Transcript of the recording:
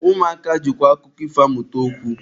Ụmụaka jikwa akụkọ ifo amụta okwu.